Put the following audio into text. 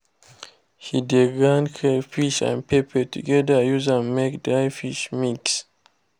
he de grind crayfish and pepper together use am make dry fish mix